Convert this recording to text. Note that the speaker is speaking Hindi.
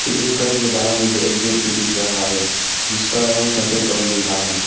उस घर के बाहर मुझे एक गेट भी दिख रहा है जिसका रंग सफेद और नीला है।